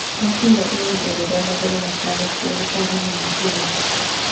Gwakinya ihinda rĩrĩa magũrũ mataahotire gũtagana makĩria,